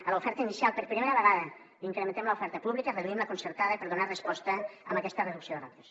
a l’oferta inicial per primera vegada incrementem l’oferta pública reduïm la concertada per donar resposta a aquesta reducció de ràtios